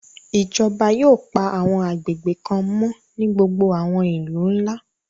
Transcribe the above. Ijọba yóò pa àwọn agbegbe kan mọ ni gbogbo àwọn ilu nla